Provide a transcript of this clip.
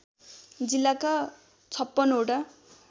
जिल्लाका ५६ वटा